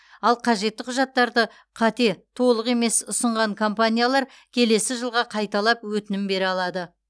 ал қажетті құжаттарды қате толық емес ұсынған компаниялар келесі жылға қайталап өтінім бере алады